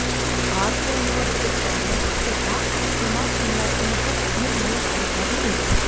Atriðin voru til dæmis: Hve hratt og hve nákvæmlega finnur fólk miðju beinnar línu?